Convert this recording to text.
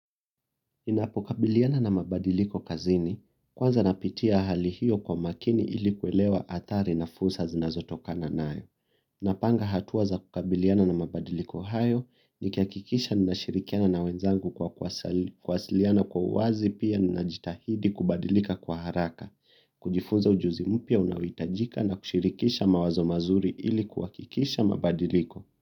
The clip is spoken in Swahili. Ninapokabiliana na mabadiliko kazini, kwanza napitia hali hiyo kwa makini ilikuelewa athari na fursa zinazo tokana nayo. Napanga hatua za kukabiliana na mabadiliko hayo nikiakikisha nina shirikiana na wenzangu kwa kuwasiliana kwa uwazi pia nina jitahidi kubadilika kwa haraka. Kujifunza ujuzi mpya unaoitajika na kushirikisha mawazo mazuri ili kuakikisha mabadiliko.